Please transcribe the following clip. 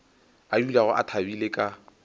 a dulago a thabile ka